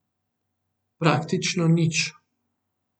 Praktično nič.